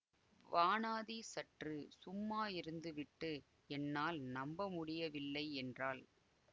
வானாதி சற்று சும்மா இருந்துவிட்டு என்னால் நம்பமுடியவில்லை என்றாள்